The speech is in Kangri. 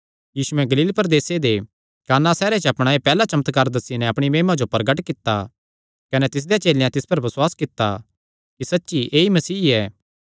यीशुयैं गलील प्रदेसे दे काना सैहरे च अपणा एह़ पैहल्ला चमत्कार दस्सी नैं अपणी महिमा जो प्रगट कित्ता कने तिसदेयां चेलेयां तिस पर बसुआस कित्ता कि सच्ची च ऐई मसीह ऐ